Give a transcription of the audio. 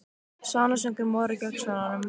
Svanasöngur Móra gegn Svönunum?